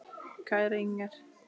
Kæra Inger.